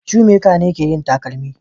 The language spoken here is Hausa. Shoemaker ne ke yin takalma